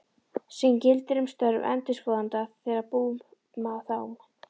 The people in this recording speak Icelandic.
sem gildir um störf endurskoðanda þegar bú, þám.